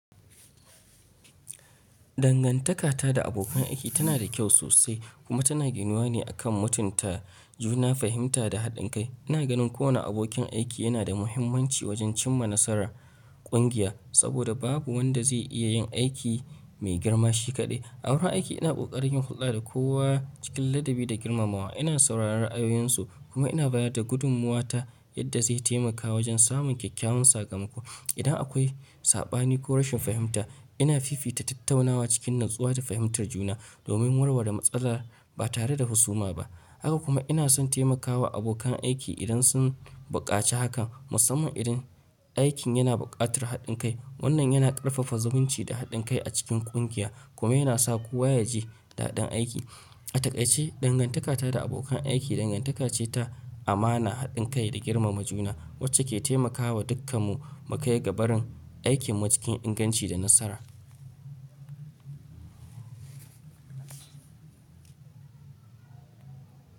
Dangantakata da abokan aiki tana da kyau sosai kuma tana ginuwa ne akan mutunta juna, fahimta da haɗin kai. Ina ganin kowane abokin aiki yana da muhimmanci wajen cimma nasarar kungiya saboda babu wanda zai iya yin aiki mai girma shi kaɗai. A wurin aiki ina ƙoƙarin hulɗa da kowa cikin ladabi da girmamawa. Ina sauraron ra'ayoyinsu kuma ina bayar da gudummuwata yadda zai taimaka wajen samun kyakkyawan sakamako. Idan akwai saɓani ko rashin fahimta, ina fifita tattaunawa cikin natsuwa da fahimtar juna domin warware matsala ba tare da husuma ba. Haka kuma ina son taimakawa abokan aiki idan sun buƙaci hakan, musamman idan aikin yana buƙatar haɗin kai. Wannan yana ƙarfafa zumunci da haɗin kai a cikin kungiya kuma yana sa kowa ya ji daɗin aiki. A takai ce, dangantakata da abokan aiki dangantaka ce ta amana, haɗin kai da girmama juna wacce ke taimakawa dukkanmu mu kai ga barin aikin mu cikin inganci da nasara.